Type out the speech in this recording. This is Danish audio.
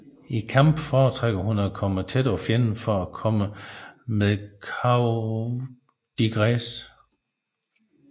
I kamp fortrækker hun at komme tæt på fjenden for at komme med coup de grâce